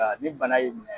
Ni bana y'i minɛ